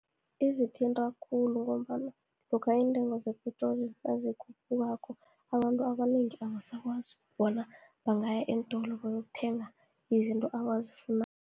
Izithinta khulu, ngombana lokha iintengo zepetroli nazikhuphukako, abantu abanengi abasakwazi bona, bangaya eentolo bayokuthenga izinto abazifunako.